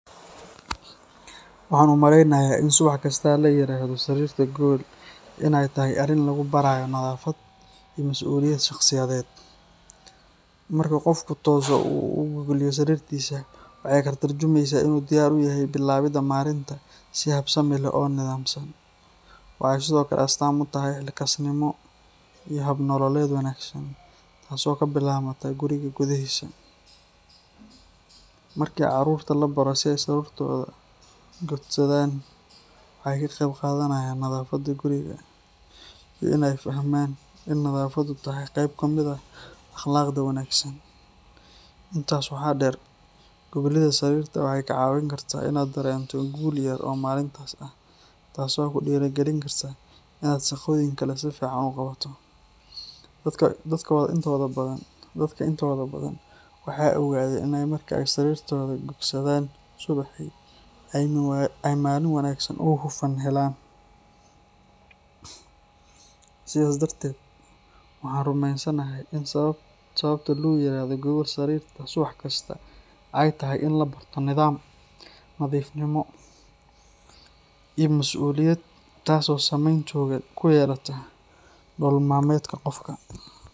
Waxaan u maleynayaa in subax kasta la yiraahdo sarirta gogol in ay tahay arrin lagu barayo nadaafad iyo mas’uuliyad shaqsiyadeed. Marka qofku tooso oo uu gogliyo sariirtiisa, waxa ay ka tarjumaysaa in uu diyaar u yahay bilaabidda maalinta si habsami leh oo nidaamsan. Waxay sidoo kale astaan u tahay xilkasnimo iyo hab-nololeed wanaagsan, taasoo ka bilaabmata guriga gudihiisa. Markii carruurta la baro in ay sariirtooda gogsadaan, waxay ka qayb qaadanayaan nadaafadda guriga iyo in ay fahmaan in nadaafaddu tahay qayb ka mid ah akhlaaqda wanaagsan. Intaas waxaa dheer, goglidda sariirta waxay kaa caawin kartaa in aad dareento guul yar oo maalintaas ah, taasoo ku dhiirrigelin karta in aad shaqooyin kale si fiican u qabato. Dadka intooda badan waxay ogaadeen in marka ay sariirtooda gogsadaan subaxii, ay maalin wanaagsan oo hufan helaan. Sidaas darteed, waxaan rumeysanahay in sababta loo yiraahdo gogol sariirta subax kasta ay tahay in la barto nidaam, nadiifnimo, iyo masuuliyad taasoo saameyn togan ku yeelata nolol maalmeedka qofka.